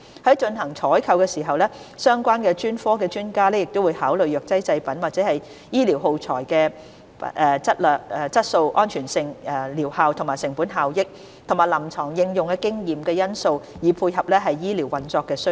在進行採購時，相關專科的專家會考慮藥劑製品或醫療耗材的質素、安全性、療效、成本效益及臨床應用經驗等因素，以配合醫療運作需要。